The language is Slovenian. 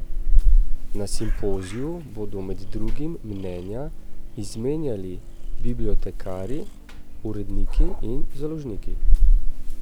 Na simpoziju bodo med drugim mnenja izmenjali bibliotekarji, uredniki in založniki.